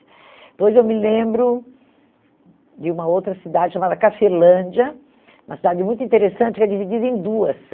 Depois eu me lembro de uma outra cidade chamada Cafelândia, uma cidade muito interessante que é dividida em duas.